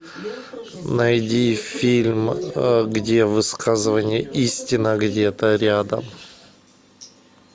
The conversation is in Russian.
найди фильм где высказывание истина где то рядом